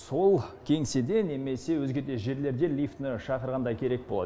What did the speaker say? сол кеңседе немесе өзге де жерлерде лифтіні шақырғанда керек болады